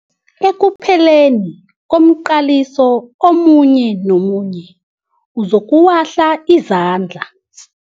Ekupheleni komqaliso omunye nomunye uzokuwahla izandla.